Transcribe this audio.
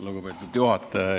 Lugupeetud juhataja!